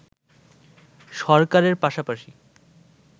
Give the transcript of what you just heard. সরকারের পাশাপাশি